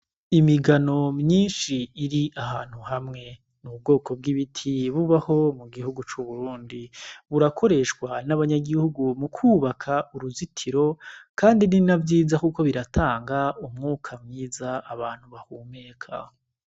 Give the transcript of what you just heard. Imigano myinshi iri ahantu hamwe. Ni ubwoko bw'ibiti bubaho mu gihugu c'Uburundi. Burakoreshwa n'abanyagihugu mu kwubaka uruzitiro kandi nina vyiza kuko biratanga umwuka mwiza abantu bahumeka.